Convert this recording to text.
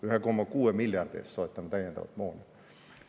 1,6 miljardi eest soetame täiendavat moona!